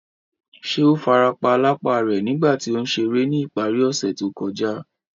Ṣe o farapa lapa rẹ nigba ti o n ṣere ni ìparí ọse to kója?